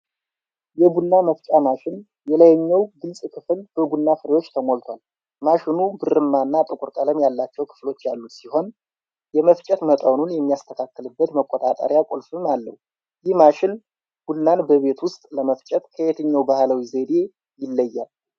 የቡና መፍጫ ማሽን የላይኛው ግልጽ ክፍል በቡና ፍሬዎች ተሞልቷል። ማሽኑ ብርማ እና ጥቁር ቀለም ያላቸው ክፍሎች ያሉት ሲሆን፣ የመፍጨት መጠኑን የሚስተካከልበት መቆጣጠሪያ ቁልፍም አለው። ይህ ማሽን ቡናን በቤት ውስጥ ለመፍጨት ከየትኛው ባህላዊ ዘዴ ይለያል?